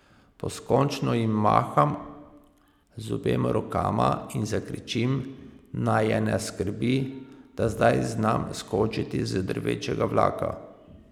Poskočno ji maham z obema rokama in zakričim, naj je ne skrbi, da zdaj znam skočiti iz drvečega vlaka.